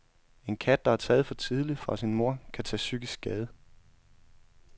En kat, der er taget for tidligt fra sin mor, kan tage psykisk skade.